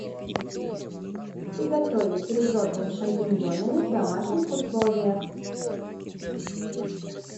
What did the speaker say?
приготовить ризотто с шампиньонами в домашних условиях